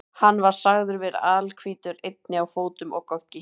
Hann var sagður vera alhvítur, einnig á fótum og goggi.